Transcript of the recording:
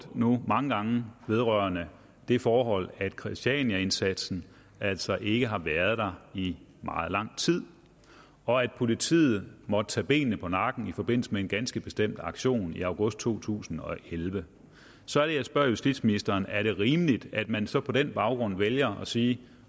mange gange vedrørende det forhold at christianiaindsatsen altså ikke har været der i meget lang tid og at politiet måtte tage benene på nakken i forbindelse med en ganske bestemt aktion i august to tusind og elleve så er det jeg spørger justitsministeren er det rimeligt at man så på den baggrund vælger at sige